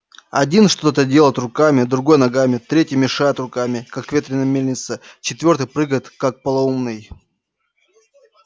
один что-то делает руками другой ногами третий машет руками как ветряная мельница четвёртый прыгает как полоумный